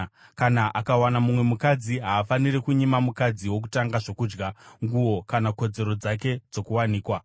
Kana akawana mumwe mukadzi, haafaniri kunyima mukadzi wokutanga zvokudya, nguo kana kodzero dzake dzokuwanikwa.